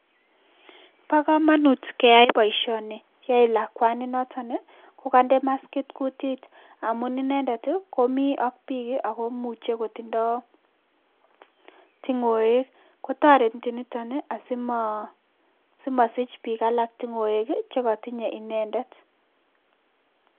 Bo kamanut keyai boisyoni yoe lakwani nitoni kokande maskit kutit, amun inendet komi ak bik ako imuche kotindo tungoek, kotoreti nitoni asimasich bik alak tungoek chekatinye inendet.